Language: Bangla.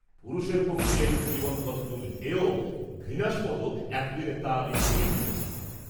পুরুষের পক্ষে এরূপ জীবন কতদূর হেয় ঘৃণাস্পদ এতদিনে তা আমি খুবই বুঝছি।